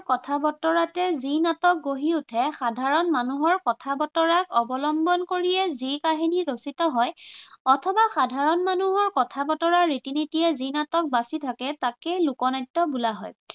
কথা-বতৰাতে যি নাটক গঢ়ি উঠে, সাধাৰণ মানুহৰ কথা-বতৰাক অৱলম্বন কৰিয়ে যি কাহিনী ৰচিত হয় অথবা সাধাৰণ মানুহৰ কথা-বতৰা, ৰীতি-নীতিৰে যি নাটক বাচি থাকে তাকে লোকনাট্য় বোলা হয়।